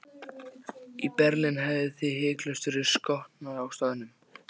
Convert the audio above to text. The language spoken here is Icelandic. Í Berlín hefðuð þið hiklaust verið skotnir á staðnum.